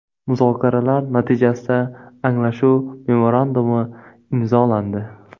Muzokaralar natijasida anglashuv memorandumi imzolandi.